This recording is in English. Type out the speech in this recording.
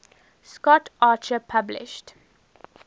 scott archer published